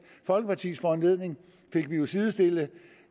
folkepartis foranledning fik vi jo sidestillet